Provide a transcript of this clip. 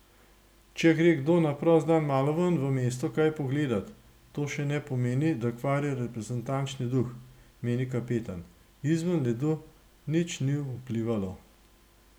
Če gre kdo na prost dan malo v mesto kaj pogledat, to še ne pomeni, da kvari reprezentančni duh, meni kapetan: 'Izven ledu nič ni vplivalo.